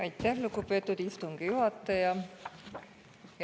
Aitäh, lugupeetud istungi juhataja!